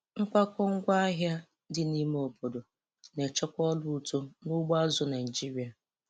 Nkwakọ ngwaahịa dị n'ime obodo na-echekwa ọrụ uto n'ugbo azụ̀ Naịjiria.